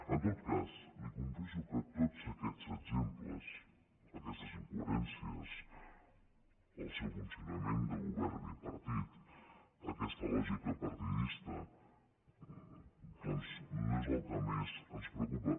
en tot cas li confesso que tots aquests exemples aquestes incoherències el seu funcionament de govern bipartit aquesta lògica partidista doncs no és el que més ens preocupa